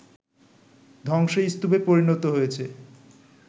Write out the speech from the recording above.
ধ্বংসস্তূপে পরিণত হয়েছে